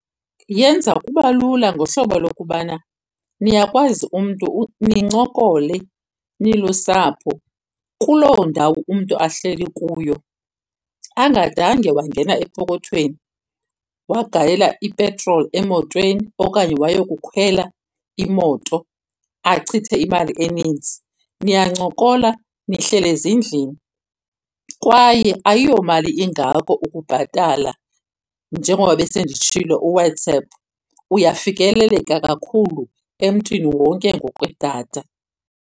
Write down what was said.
Yenza kuba lula ngohlobo lokubana niyakwazi umntu nincokole nilusapho kuloo ndawo umntu ahleli kuyo angadange wangena epokothweni wagalela ipetroli emotweni okanye wayokukhwela imoto achithe imali eninzi. Niyancokola nihleli ezindlini kwaye ayiyomali ingako ukubhatala njengoba besenditshilo uWhatsApp, uyafikeleleka kakhulu emntwini wonke ngokwe-data.